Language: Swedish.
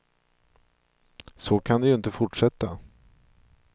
Så kan det ju inte fortsätta.